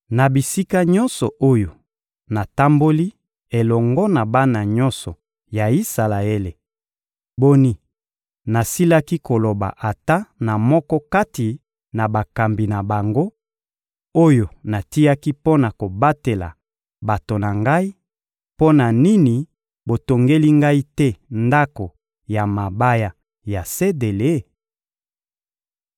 Na bisika nyonso oyo natamboli elongo na bana nyonso ya Isalaele, boni, nasilaki koloba ata na moko kati na bakambi na bango, oyo natiaki mpo na kobatela bato na Ngai: ‘Mpo na nini botongeli Ngai te ndako ya mabaya ya sedele?’›